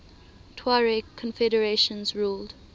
tuareg confederations ruled